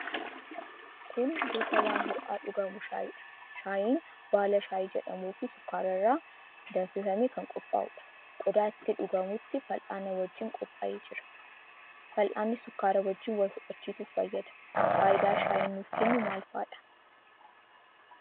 Kun gosa waan ho'aa dhugamu shaayiidha. Shaayiin baala shaayii jedhamuufi sukkaara irraa danfifamee kan qophaa'uudha. Qodaa itti dhugamutti fal'aanaa wajjin qophaa'ee jira. Fal'aanni sukkaaraa wajjin wal fudhachiisuuf fayyada. Faayidaa shaayiin nuuf kennu maal faadha?